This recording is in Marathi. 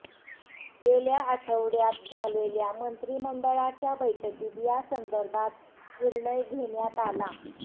गेल्या आठवड्यात झालेल्या मंत्रिमंडळाच्या बैठकीत या संदर्भात निर्णय घेण्यात आला